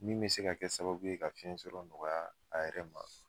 Min bɛ se ka kɛ sababu ye ka fiyɛnsɔrɔ nɔgɔya a yɛrɛ ma.